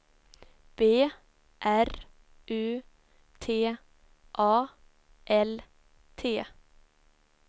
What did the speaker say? B R U T A L T